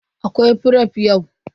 Akwai fref yau.